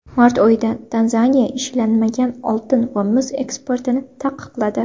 Mart oyida Tanzaniya ishlanmagan oltin va mis eksportini taqiqladi.